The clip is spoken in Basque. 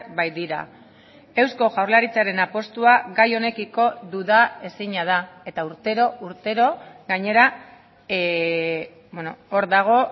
baitira eusko jaurlaritzaren apustua gai honekiko dudaezina da eta urtero urtero gainera hor dago